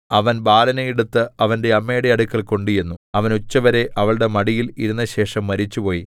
അവൻ ബാലനെ എടുത്ത് അവന്റെ അമ്മയുടെ അടുക്കൽ കൊണ്ടുചെന്നു അവൻ ഉച്ചവരെ അവളുടെ മടിയിൽ ഇരുന്നശേഷം മരിച്ചുപോയി